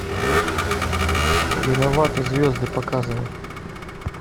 виноваты звезды показывай